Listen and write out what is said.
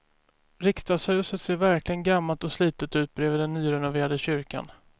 Riksdagshuset ser verkligen gammalt och slitet ut bredvid den nyrenoverade kyrkan.